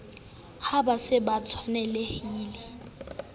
ha ba se ba tshwanelaha